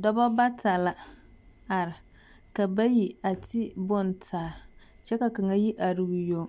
Dɔbɔ bata la are. Ka bayi a ti bontaa kyɛ ka kaŋa yi are o yoŋ.